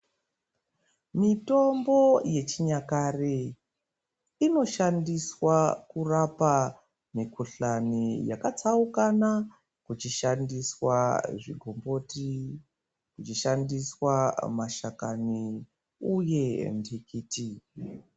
Mitombo yechinyakare inoshandiswa kurapa mikhuhlani yakatsauka na ichishandiswa zvikomboti ichishandiswa mashakani uye ndikiti.